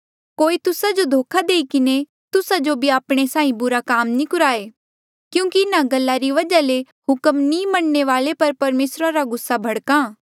कोई तुस्सा जो धोखा देई किन्हें तुस्सा जो भी आपणे साहीं बुरे काम नी कुराये क्यूंकि इन्हा गल्ला री वजहा ले हुक्म नी मनणे वाले पर परमेसरा रा गुस्सा भड़क्हा